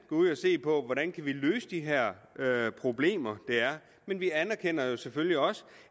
gå ud og se på hvordan vi kan løse de her problemer der er men vi anerkender jo selvfølgelig også